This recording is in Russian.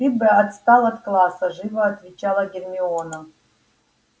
ты бы отстал от класса живо отвечала гермиона